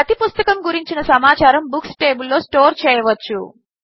ప్రతి పుస్తకము గురించిన సమాచారము బుక్స్ టేబిల్లో స్టోర్ చేయవచ్చు